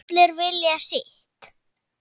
Allir vilja sitt